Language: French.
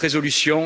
13 résolutions.